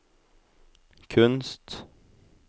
kunst